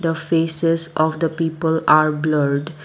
the faces of the people are blurred.